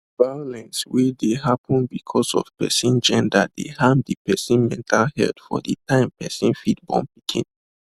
violence wey dey happen because of person gender dey harm de person mental health for de time person fit born pikin